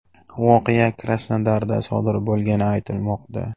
Voqea Krasnodarda sodir bo‘lgani aytilmoqda.